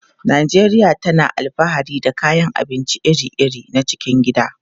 Najeriya tana alfahari da kayan abinci iri-iri na cikin gida.